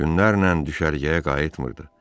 Günlərlə düşərgəyə qayıtmırdı.